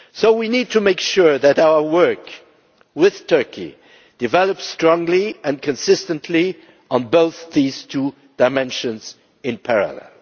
We need to make sure that our work with Turkey develops strongly and consistently on these two dimensions in parallel.